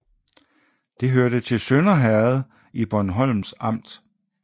Det hørte til Sønder Herred i Bornholms Amt